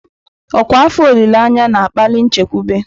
Ọkwa afọ olileanya na-akpali nchekwube.